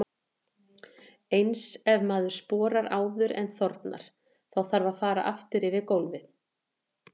Eins ef maður sporar áður en þornar, þá þarf að fara aftur yfir gólfið.